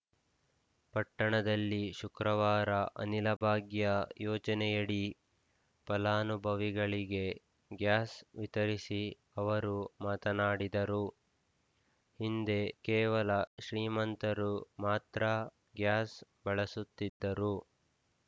ಪಟ್ಟಣದಲ್ಲಿ ಶುಕ್ರವಾರ ಅನಿಲಭಾಗ್ಯ ಯೋಜನೆಯಡಿ ಫಲಾನುಭವಿಗಳಿಗೆ ಗ್ಯಾಸ್‌ ವಿತರಿಸಿ ಅವರು ಮಾತನಾಡಿದರು ಹಿಂದೆ ಕೇವಲ ಶ್ರೀಮಂತರು ಮಾತ್ರ ಗ್ಯಾಸ್‌ ಬಳಸುತ್ತಿದ್ದರು